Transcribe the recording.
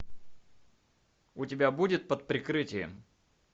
у тебя будет под прикрытием